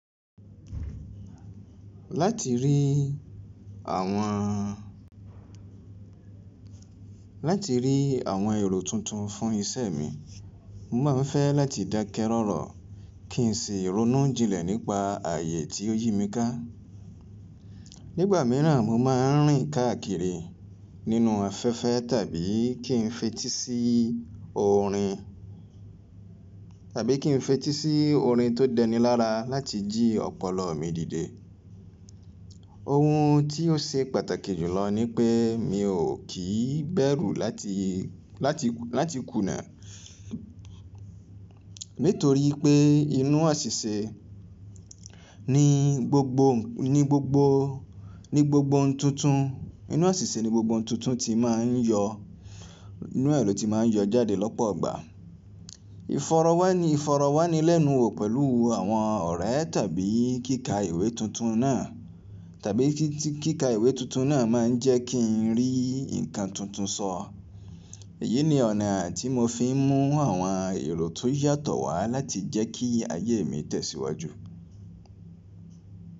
Láti rí àwọn, láti rí àwọn èrò tuntun fún iṣẹ́ mi, mo máa ń fẹ́ láti dákẹ́ rọ́rọ́ kí n sì rónú jinlẹ̀ nípa ààyè tí ó yí mi ká. Nígbà míràn mo máa ń rìn káàkiri nínú afẹ́fẹ́ tàbí kí n fetí sí orin, tàbí kí n fetí sí orin tó dẹni lára láti jí ọpọlọ mi dìde. Ohun tí ó ṣe pàtàkì jùlọ ni pé mi ò kí bẹ́rù láti, láti, láti kùnà. Nítorí pé inú àsìsẹ̀ ni gbogbo, ní gbogbo, ní gbogbo ohun tuntun, inú àsìsẹ̀ ni gbogbo ohun tuntun ti máa ń yọ, inú è lò ti máa ń yọ jáde lọ́pọ̀ ìgbà. Ìfọrọ̀wánilẹ́nuwò pẹ̀lú àwọn ọ̀rẹ́ tàbí kíkà ìwé tuntun náà, tàbí kí kíkà ìwé tuntun náà máa ń jẹ́ kí n rí nǹkan tuntun sọ. Èyí ni ọ̀nà tí mo fi ń mú àwọn èrò tó yàtọ̀ wá láti jẹ́ kí ayé mi tẹ̀síwájú.